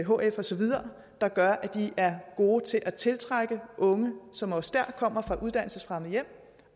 hf og så videre det gør at de er gode til at tiltrække unge som også der kommer fra uddannelsesfremmede hjem